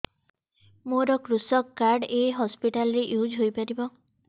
ମୋର କୃଷକ କାର୍ଡ ଏ ହସପିଟାଲ ରେ ୟୁଜ଼ ହୋଇପାରିବ